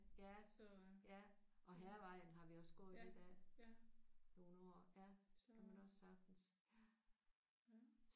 Ja ja. Og Hærvejen har vi også gået lidt af nogle år. Ja kan man også sagtens